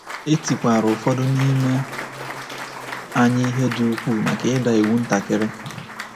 E tikwara ụfọdụ n’ime anyị ihe dị ukwuu maka ịda iwu ntakiri.